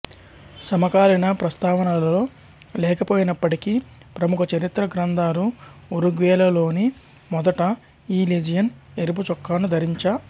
సమకాలీన ప్రస్తావనలలో లేకపోయినప్పటికి ప్రముఖ చరిత్ర గ్రంథాలు ఉరుగ్వేలోనే మొదట ఈ లెజియన్ ఎరుపు చొక్కాను ధరించ